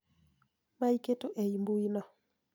Maiketo ei mbui no